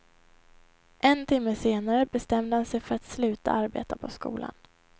En timme senare bestämde han sig för att sluta arbeta på skolan.